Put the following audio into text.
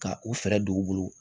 Ka u fɛɛrɛ don u bolo